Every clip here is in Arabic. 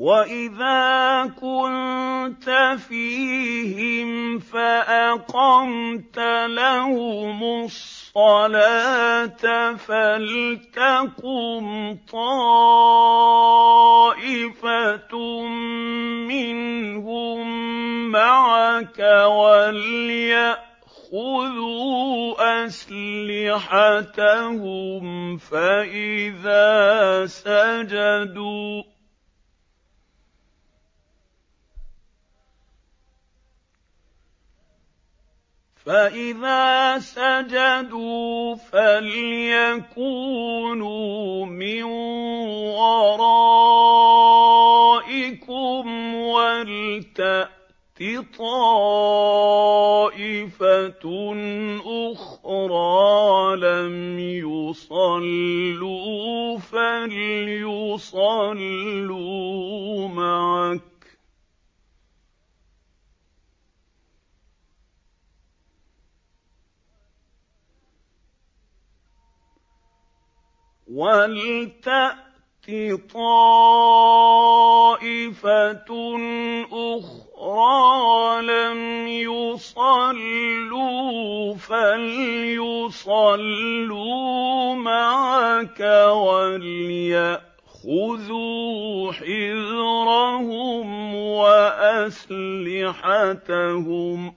وَإِذَا كُنتَ فِيهِمْ فَأَقَمْتَ لَهُمُ الصَّلَاةَ فَلْتَقُمْ طَائِفَةٌ مِّنْهُم مَّعَكَ وَلْيَأْخُذُوا أَسْلِحَتَهُمْ فَإِذَا سَجَدُوا فَلْيَكُونُوا مِن وَرَائِكُمْ وَلْتَأْتِ طَائِفَةٌ أُخْرَىٰ لَمْ يُصَلُّوا فَلْيُصَلُّوا مَعَكَ وَلْيَأْخُذُوا حِذْرَهُمْ وَأَسْلِحَتَهُمْ ۗ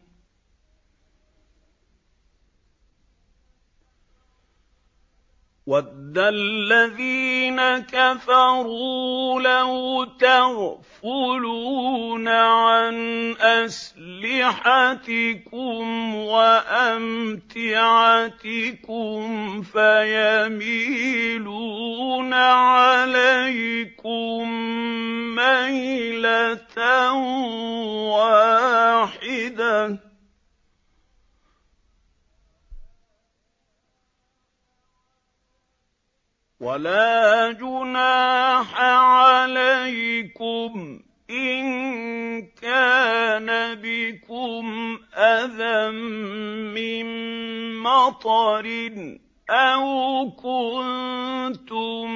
وَدَّ الَّذِينَ كَفَرُوا لَوْ تَغْفُلُونَ عَنْ أَسْلِحَتِكُمْ وَأَمْتِعَتِكُمْ فَيَمِيلُونَ عَلَيْكُم مَّيْلَةً وَاحِدَةً ۚ وَلَا جُنَاحَ عَلَيْكُمْ إِن كَانَ بِكُمْ أَذًى مِّن مَّطَرٍ أَوْ كُنتُم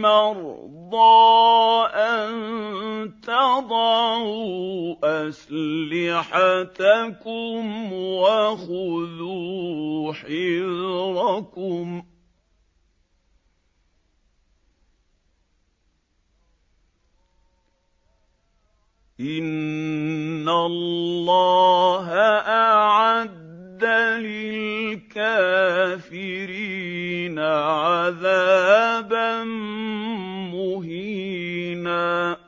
مَّرْضَىٰ أَن تَضَعُوا أَسْلِحَتَكُمْ ۖ وَخُذُوا حِذْرَكُمْ ۗ إِنَّ اللَّهَ أَعَدَّ لِلْكَافِرِينَ عَذَابًا مُّهِينًا